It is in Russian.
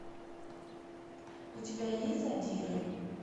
у тебя есть задиры